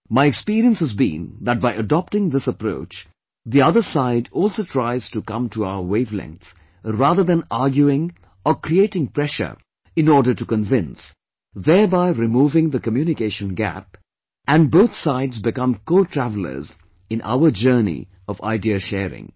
My experience has been that by adopting this approach, the other side also tries to come to our wave length rather than arguing or creating pressure in order to convince thereby removing the communication gap and both sides become cotravelers in our journey of ideasharing